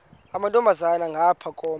amantombazana ngapha koma